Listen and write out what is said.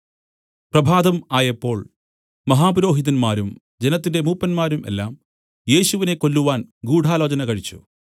പ്രഭാതം ആയപ്പോൾ മഹാപുരോഹിതന്മാരും ജനത്തിന്റെ മൂപ്പന്മാരും എല്ലാം യേശുവിനെ കൊല്ലുവാൻ ഗൂഢാലോചന കഴിച്ചു